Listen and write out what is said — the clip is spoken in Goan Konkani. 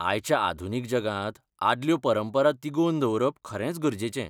आयच्या आधुनीक जगांत आदल्यो परंपरा तिगोवन दवरप खरेंच गरजेचें.